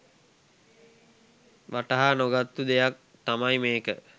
වටහා නොගත්තු දෙයක් තමයි මේක.